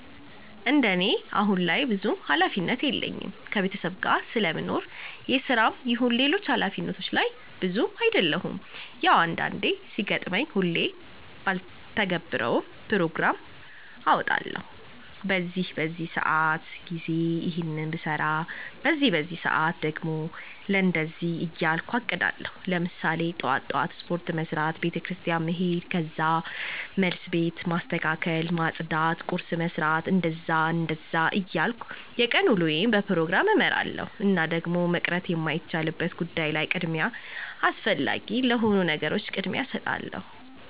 እንደኔ አሁን ላይ ብዙም ሀላፊነት የለኝም ከቤተሰብ ጋር ስለምኖር የስራም ይሁን ሌሎች ሀላፊነቶች ላይ እብዛም አደሉም። ያው አንዳንዴ ሲገጥመኝ ሁሌ ባልተገብረውም ፕሮግራም አወጣለሁኝ በዚህ በዚህ ሰአት ጊዜ ይሔንን ብሰራ በዚህ በዚህ ሰአት ደግሞ ለእንደዚህ እያልኩ አቅዳለሁኝ። ለምሳሌ ጥዋት ጥዋት ስፖርት መስራት፣ ቤተክርስቲያን መሔድ ከዛ መልስ ቤት ማስተካከል ማፅዳት ቁርስ መስራት... እንደዛ እንደዛ እያልኩ የቀን ውሎየን በፕሮግራም እመራለሁኝ። እና ደግሞ መቅረት የማይቻልበት ጉዳይ ላይ ቅድሚያ አስፈላጊ ለሆኑ ነገሮች ቅድሚያ እሰጣለሁኝ።